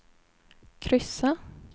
kryssa